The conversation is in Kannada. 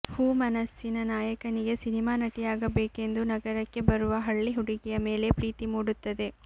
ಹೂ ಮನಸ್ಸಿನ ನಾಯಕನಿಗೆ ಸಿನಿಮಾ ನಟಿಯಾಗಬೇಕೆಂದು ನಗರಕ್ಕೆ ಬರುವ ಹಳ್ಳಿ ಹುಡುಗಿಯ ಮೇಲೆ ಪ್ರೀತಿ ಮೂಡುತ್ತದೆ